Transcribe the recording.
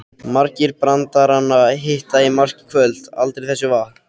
Margir brandaranna hitta í mark í kvöld, aldrei þessu vant.